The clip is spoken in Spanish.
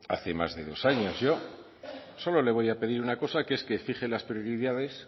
hace más de dos años yo solo le voy a pedir una cosa que es que fije las prioridades